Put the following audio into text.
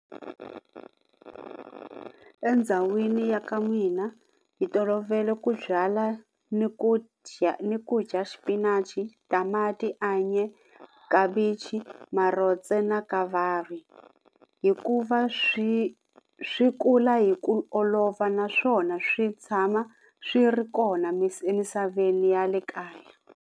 Endhawini ya ka n'wina hi tolovele ku byala ni ku dya ni ku dya xipinachi, tamati, anye, khavichi, marotse na kavari hikuva swi swi kula hi ku olova naswona swi tshama swi ri kona emisaveni ya le kaya.